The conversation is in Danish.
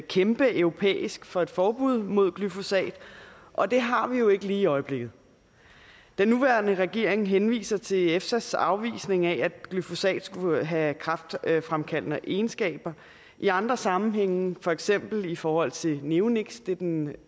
kæmpe på europæisk plan for et forbud mod glyfosat og det har vi jo ikke lige i øjeblikket den nuværende regering henviser til efsas afvisning af at glyfosat skulle have kræftfremkaldende egenskaber i andre sammenhænge for eksempel i forhold til neoniks det er den